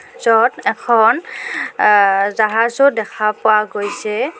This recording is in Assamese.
য'ত এখন আ জাহাজো দেখা পোৱা গৈছে.